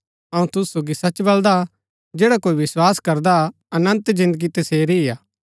अऊँ तुसु सोगी सच बलदा जैडा कोई विस्वास करदा अनन्त जिन्दगी तसेरी ही हा